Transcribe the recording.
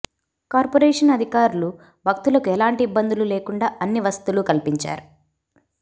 corporation అధికారులు భక్తులకు ఎలాంటి ఇబ్బందులు లేకుండా అన్ని వసతులు కల్పించారు